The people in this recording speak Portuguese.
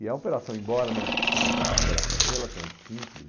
E a operação, embora não, quer dizer, fosse uma operação relativamente simples,